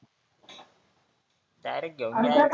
direct घेऊन जायचं